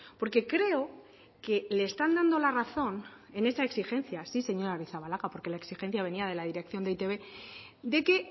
porque creo que le están dando la razón en esa exigencia sí señora arrizabalaga porque la exigencia venia de la dirección de eitb de que